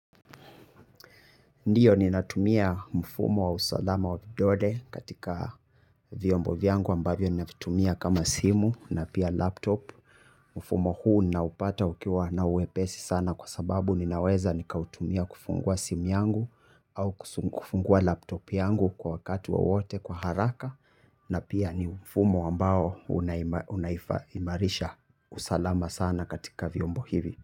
Ndiyo ninatumia mfumo wa usalama wa vidole katika vyombo vyangu ambavyo navitumia kama simu na pia laptop. Mfumo huu naupata ukiwa na uepesi sana kwa sababu ninaweza nikautumia kufungua simu yangu au kufungua laptop yangu kwa wakati wowote kwa haraka. Na pia ni mfumo ambao unaimarisha usalama sana katika vyombo hivi.